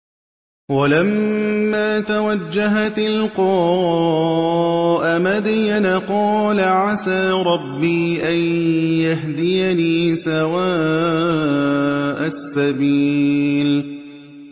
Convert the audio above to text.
وَلَمَّا تَوَجَّهَ تِلْقَاءَ مَدْيَنَ قَالَ عَسَىٰ رَبِّي أَن يَهْدِيَنِي سَوَاءَ السَّبِيلِ